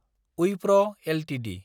ओइफ्र Ltd